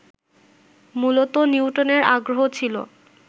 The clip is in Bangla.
মূলত নিউটনের আগ্রহ ছিল